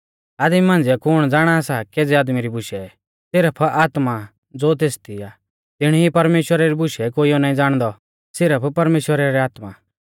आदमी मांझ़िऐ कुण ज़ाणा सा केज़ै आदमी री बुशै सिरफ आत्मा ज़ो तेसदी आ तिणी ई परमेश्‍वरा री बुशै भी कोइयौ नाईं ज़ाणदौ सिरफ परमेश्‍वरा री आत्मा